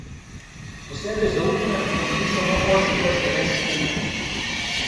Posebej zaupne pa dobi samo ožji del slovenske politike.